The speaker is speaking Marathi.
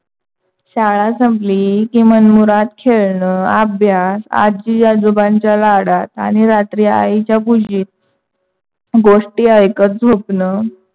शाळा संपली की मनमुराद खेळण अभ्यास आजी आजोबांच्या लाडात आणि रात्री आईच्या खुशीत गोष्ठी ऐकत झोपण,